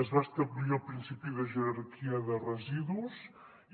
es va establir el principi de jerarquia de residus